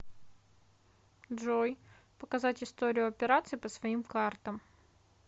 джой показать историю операций по своим картам